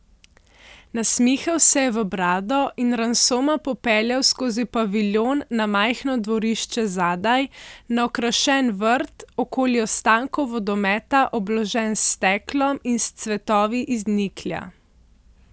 Nasmihal se je v brado in Ransoma popeljal skozi paviljon na majhno dvorišče zadaj, na okrašen vrt, okoli ostankov vodometa obložen s steklom in s cvetovi iz niklja.